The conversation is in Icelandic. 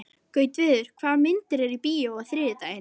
Gautviður, hvaða myndir eru í bíó á þriðjudaginn?